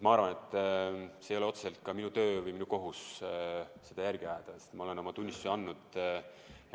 Ma arvan, et see ei ole otseselt ka minu töö või minu kohus seda järge ajada, sest ma olen oma tunnistuse andnud.